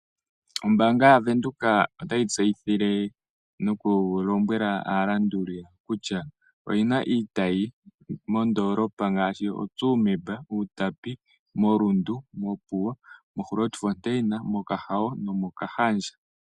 Ombaanga yo Bank Windhoek otayi tseyithile aalanduli yawo kutya oyina iitayi moondoolopa ngaashi oTsumeb, Outapi, Rundu, Opuwo, Grootfontein, Okahawo nomOkahandja.